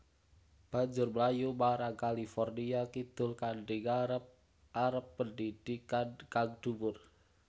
Banjur mlayu marang California kidul kanthi ngarep arep pendhidhikan kang dhuwur